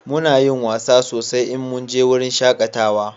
Muna yin wasa sosai in mun je wurin shakatawa